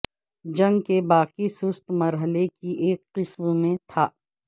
جنگ کے باقی سست مرحلے کی ایک قسم میں تھا